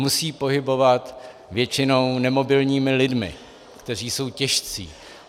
Musí pohybovat většinou nemobilními lidmi, kteří jsou těžcí.